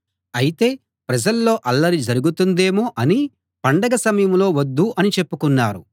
అయితే ప్రజల్లో అల్లరి జరుగుతుందేమో అని పండగ సమయంలో వద్దు అని చెప్పుకున్నారు